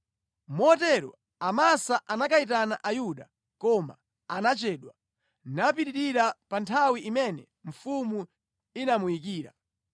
Motero Amasa anakayitana Ayuda, koma anachedwa, napitirira pa nthawi imene mfumu inamuyikira.